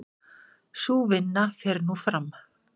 Sú vinna fer nú fram.